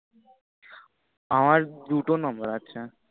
আমার দুটো number আছে